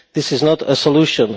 This is not a solution.